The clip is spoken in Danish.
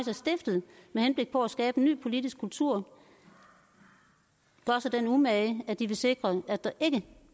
er stiftet med henblik på at skabe en ny politisk kultur gør sig den umage at de vil sikre at der ikke